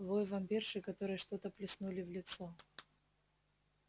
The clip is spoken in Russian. вой вампирши которой что-то плеснули в лицо